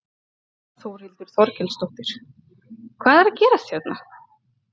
Þórhildur Þorkelsdóttir: Hvað er að gerast hérna?